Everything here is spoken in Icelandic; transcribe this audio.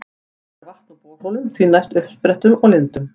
Best er vatn úr borholum, því næst uppsprettum og lindum.